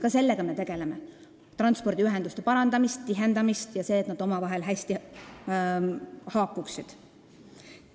Ka sellega me tegeleme, me parandame ja tihendame transpordiühendusi ning tegeleme sellega, et need omavahel hästi haakuksid.